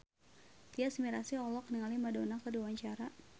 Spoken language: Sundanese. Tyas Mirasih olohok ningali Madonna keur diwawancara